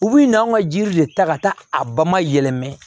U bi n'an ka ji de ta ka taa a ba ma yɛlɛma